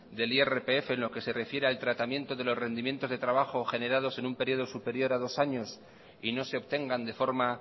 del irpf en lo que se refiere al tratamiento de los rendimientos de trabajo generados en un periodo superior a dos años y no se obtengan de forma